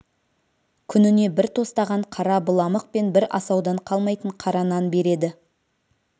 күніне бір тостаған қара быламық пен бір асаудан қалмайтын қара нан береді